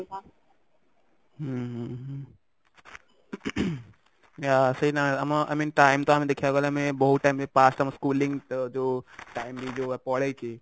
ହୁଁ ହୁଁ ହୁଁ ତ ସେଇ ଆମ time ତ i mean time ଟା ଆମେ ଦେଖିବାକୁ ଗଲେ ମାନେ ବହୁତ time ଆମ schooling ଯୋଉ time ବି ପଳେଇଛି